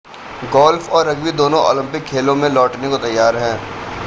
golf और rugby दोनों Olympic खेलों में लौटने को तैयार हैं